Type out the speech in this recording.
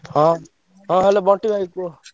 ହଁ ହଁ Hello ବଣ୍ଟି ଭାଇ କୁହ।